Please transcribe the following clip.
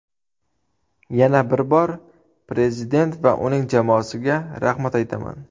Yana bir bor Prezident va uning jamoasiga rahmat aytaman.